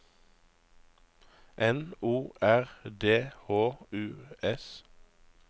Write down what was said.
N O R D H U S